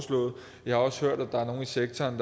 jeg har også hørt at der er nogle i sektoren